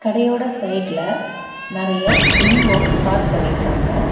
கடையோட சைடுல நெறைய டிம்போ பார்க் பண்ணிருக்காங்க.